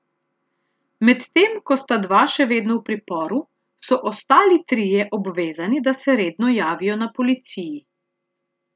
Medtem ko sta dva še vedno v priporu, so ostali trije obvezani, da se redno javijo na policiji.